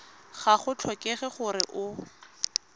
ga go tlhokege gore o